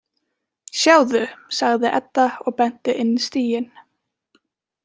Sjáðu, sagði Edda og benti inn stíginn.